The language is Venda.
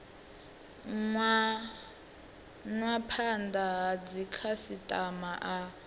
nwa phanda ha dzikhasitama a